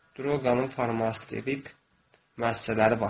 Droqanın farmasevtik müəssisələri var.